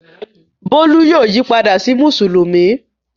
Bólú yóò yí padà sí Mùsùlùmí.